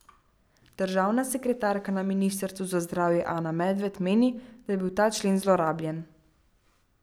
Državna sekretarka na ministrstvu za zdravje Ana Medved meni, da je bil ta člen zlorabljen.